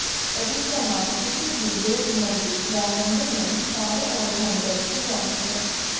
परिक्रमा किसी भी देवमूर्ति या मंदिर में चारों ओर घूमकर की जाती है